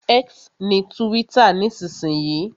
X ni túwítà nísinsìnyí